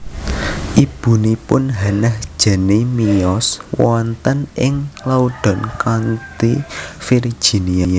Ibunipun Hannah Janney miyos wonten ing Loudoun County Virginia